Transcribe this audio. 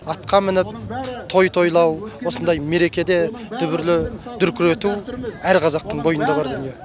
атқа мініп той тойлау осындай мерекеде дүбірлі дүркірету әр қазақтың бойында бар дүние